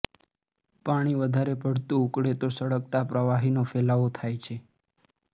પાણી વધારે પડતું ઉકળે તો સળગતા પ્રવાહીનો ફેલાવો થાય છે